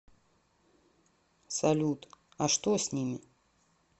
салют а что с ними